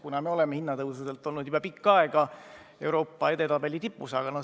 Me ju oleme oma hinnatõusudega juba pikka aega olnud Euroopa edetabeli tipus.